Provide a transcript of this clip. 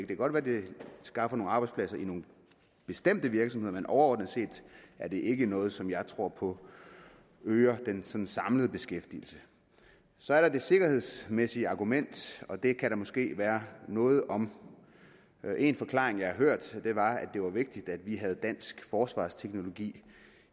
kan godt være det skaffer nogle arbejdspladser i nogle bestemte virksomheder men overordnet set er det ikke noget som jeg tror på øger den samlede beskæftigelse så er der det sikkerhedsmæssige argument og det kan der måske være noget om en forklaring jeg har hørt var at det var vigtigt at vi havde dansk forsvarsteknologi